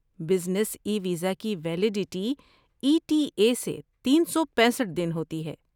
business e visa کی validity E T A سے تین سو پیسٹھ دن ہوتی ہے